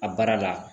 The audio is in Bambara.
A baara la